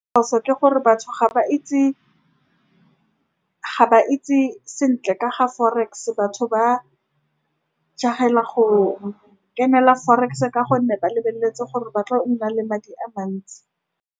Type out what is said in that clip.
Ke gore batho ga ba itse. Ga ba itse sentle ka ga forex-e. Batho ba jaag-ela go kenela forex-e ka gonne ba lebeletse gore ba tla nna le madi a mantsi.